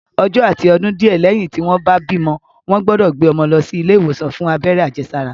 Ọjọ́ àti ọdún díẹ̀ lẹ́yìn tí wọ́n bá bímọ, wọ́n gbọ́dọ̀ gbé ọmọ lọ sí ilé ìwòsàn fún abẹ́rẹ́ àjẹsára